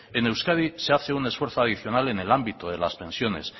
en euskadi se hace un esfuerzo adicional en el ámbito de las pensiones